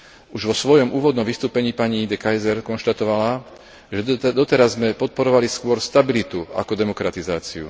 Už vo svojom úvodnom vystúpení pani De Keyser konštatovala, že doteraz sme podporovali skôr stabilitu ako demokratizáciu.